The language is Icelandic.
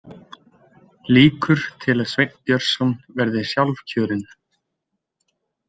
„Líkur til að Sveinn Björnsson verði sjálfkjörinn.“